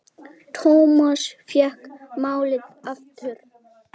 Thomas fékk málið aftur.